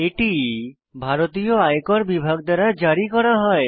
এটি ভারতীয় আয়কর বিভাগ দ্বারা জারি করা হয়